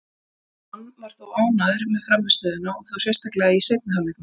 John var þó ánægður með frammistöðuna, og þá sérstaklega í seinni hálfleiknum.